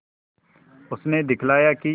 उसने दिखलाया कि